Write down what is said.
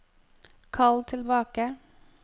kall tilbake